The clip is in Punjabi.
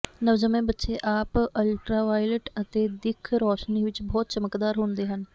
ਨਵਜੰਮੇ ਬੱਚੇ ਆਪ ਅਲਟਰਾਵਾਇਲਟ ਅਤੇ ਦਿੱਖ ਰੌਸ਼ਨੀ ਵਿੱਚ ਬਹੁਤ ਚਮਕਦਾਰ ਹੁੰਦੇ ਹਨ